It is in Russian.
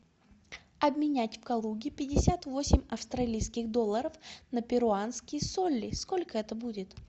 обменять в калуге пятьдесят восемь австралийских долларов на перуанские соли сколько это будет